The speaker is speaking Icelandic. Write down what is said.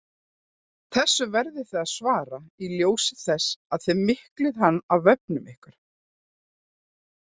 Þessu verðið þið að svara í ljósi þess að þið miklið hann á vefnum ykkar!